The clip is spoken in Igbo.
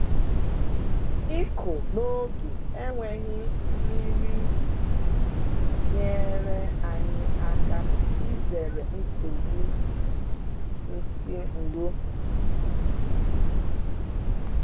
Ịkụ n’oge enweghị nmiri nyere anyị aka izere nsogbu nsi nro